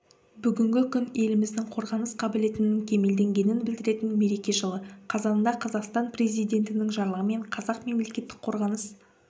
бүгінгі күн еліміздің қорғаныс қабілетінің кемелденгенін білдіретін мереке жылы қазанда қазақстан президентінің жарлығымен қазақ мемлекеттік қорғаныс